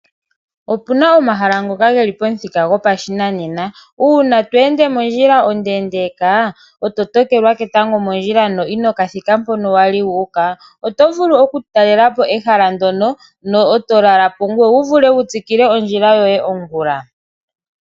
Opuna omahala ngoka geli pamuthika gopashinanena, uuna tweende mondjila ondendeeka, e to tokelwa ketango mondjila, no ino kathika mpono wali wuuka, oto vulu oku katalelapo ehala ndyono, ngoye eto lala po ngoye wu vule wutsikile ondjila yoye ongula.